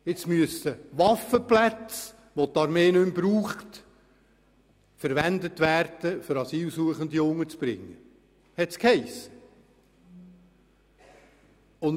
Asylsuchende sollen in Waffenplätzen, für die die Armee keine Verwendung mehr hat, untergebracht werden.